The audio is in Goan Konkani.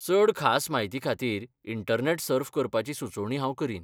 चड खास म्हायतीखातीर इंटरनॅट सर्फ करपाची सुचोवणी हांव करीन.